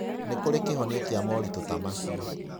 Nĩ kũrĩ kĩhonia kĩa moritũ ta macio.